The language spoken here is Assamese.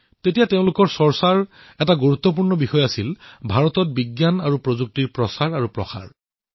তেতিয়া তেওঁলোক দুয়োৱে ভাৰতত বিজ্ঞান আৰু প্ৰযুক্তিৰ প্ৰচাৰৰ বিষয়ে আলোচনা কৰিছিল